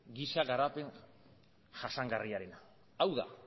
giza garapen jasangarriarena hau da